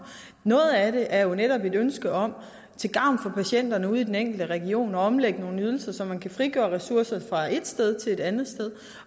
noget af det er netop et ønske om til gavn for patienterne ude i den enkelte region at omlægge nogle ydelser så man kan frigøre ressourcer fra et sted til et andet sted